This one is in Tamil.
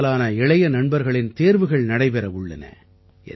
பெரும்பாலான இளைய நண்பர்களின் தேர்வுகள் நடைபெற உள்ளன